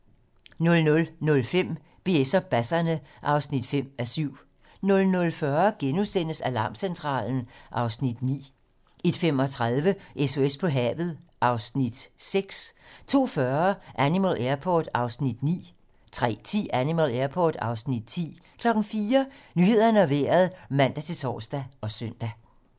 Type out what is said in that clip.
00:05: BS og basserne (5:7) 00:40: Alarmcentralen (Afs. 9)* 01:35: SOS på havet (Afs. 6) 02:40: Animal Airport (Afs. 9) 03:10: Animal Airport (Afs. 10) 04:00: Nyhederne og Vejret (man-tor og søn)